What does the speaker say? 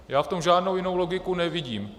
Já v tom žádnou jinou logiku nevidím.